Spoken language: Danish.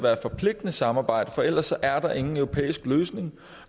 er et forpligtende samarbejde for ellers er der ingen europæisk løsning